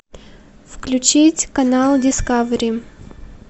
включить канал дискавери